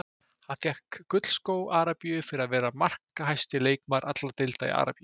Hann fékk gullskó Arabíu fyrir að vera markahæsti leikmaður allra deilda í Arabíu.